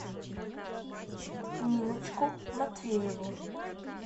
ниночку матвееву